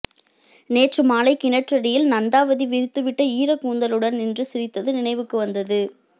நேற்று மாலை கிணற்றடியில் நந்தாவதி விரித்துவிட்ட ஈரக்கூந்தலுடன் நின்று சிரித்தது நினைவுக்கு வந்தது